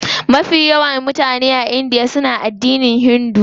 Mutane mafi yawa a india suna addinin Hinduism ne.